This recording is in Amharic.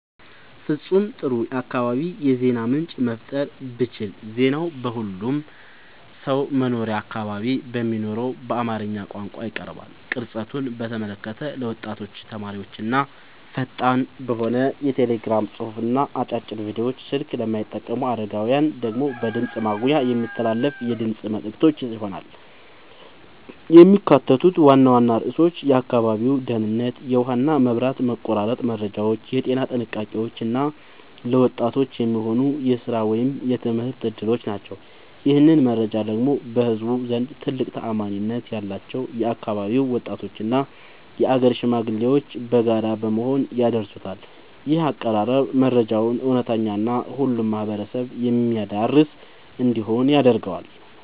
ፍጹም ጥሩ የአካባቢ የዜና ምንጭ መፍጠር ብችል ዜናው በሁሉም ሰው መኖሪያ አካባቢ በሚነገረው በአማርኛ ቋንቋ ይቀርባል። ቅርጸቱን በተመለከተ ለወጣቶችና ተማሪዎች ፈጣን በሆነ የቴሌግራም ጽሑፍና አጫጭር ቪዲዮዎች፣ ስልክ ለማይጠቀሙ አረጋውያን ደግሞ በድምፅ ማጉያ የሚተላለፉ የድምፅ መልዕክቶች ይሆናሉ። የሚካተቱት ዋና ዋና ርዕሶች የአካባቢው ደህንነት፣ የውሃና መብራት መቆራረጥ መረጃዎች፣ የጤና ጥንቃቄዎች እና ለወጣቶች የሚሆኑ የሥራ ወይም የትምህርት ዕድሎች ናቸው። ይህንን መረጃ ደግሞ በህዝቡ ዘንድ ትልቅ ተአማኒነት ያላቸው የአካባቢው ወጣቶችና የአገር ሽማግሌዎች በጋራ በመሆን ያደርሱታል። ይህ አቀራረብ መረጃው እውነተኛና ሁሉንም ማህበረሰብ የሚያዳርስ እንዲሆን ያደርገዋል።